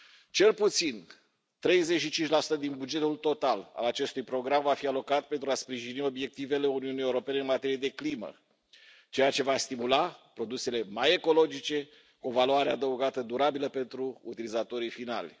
Cel puțin 35 din bugetul total al acestui program va fi alocat pentru a sprijini obiectivele Uniunii Europene în materie de climă, ceea ce va stimula produsele mai ecologice, cu o valoare adăugată durabilă pentru utilizatorii finali.